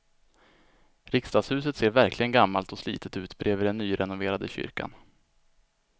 Riksdagshuset ser verkligen gammalt och slitet ut bredvid den nyrenoverade kyrkan.